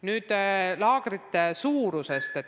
Nüüd laagrite suurusest.